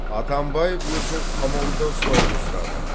атамбаев өзін қамауда ұстауды сұрады